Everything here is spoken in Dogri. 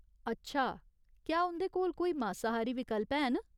अच्छा, क्या उं'दे कोल कोई मासाहारी विकल्प हैन ?